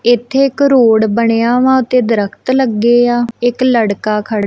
ਇੱਥੇ ਇੱਕ ਰੋਡ ਬਣਿਆ ਹੈ ਤੇ ਦਰਖਤ ਲੱਗੇ ਆ ਇੱਕ ਲੜਕਾ ਖੜਾ--